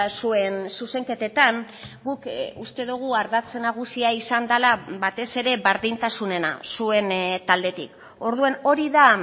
zuen zuzenketetan guk uste dugu ardatz nagusia izan dela batez ere berdintasunena zuen taldetik orduan hori da